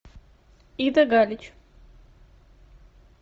ида галич